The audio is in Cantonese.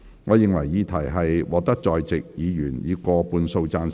我認為議題獲得在席議員以過半數贊成。